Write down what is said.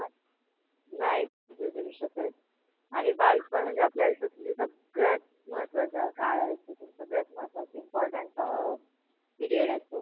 नाय विसरू शकत आणि बालपण म्हणजे आपल्या आयुष्यातला सगळ्यात महत्वाचा काळ असतो सगळ्यात महत्वाचा अह important period असतो.